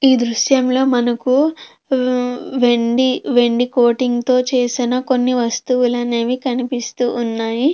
ఈ దృశ్యంలో మనకు వెండి వెండి కోటింగ్ తో చేసిన కొన్ని వస్తువులు అనేవి కనిపిస్తూ ఉన్నాయి.